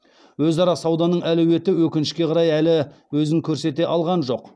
өзара сауданың әлеуеті өкінішке қарай әлі өзін көрсете алған жоқ